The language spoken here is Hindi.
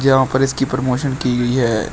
जहां पर इसकी प्रमोशन की गई है।